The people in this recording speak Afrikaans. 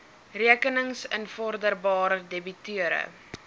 rekenings invorderbaar debiteure